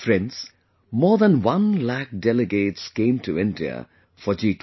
Friends, more than one lakh delegates came to India for G20